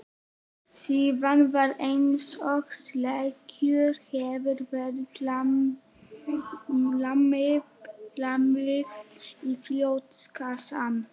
Síðan var einsog sleggju hefði verið lamið í brjóstkassann.